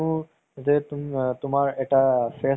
সিইটো সময়ত গাড়ী ঘোঁৰা কেনেকে আছিলে। মানুহ কেনেকা আছিলে ন?